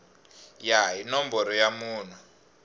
ya hi nomboro ya munhu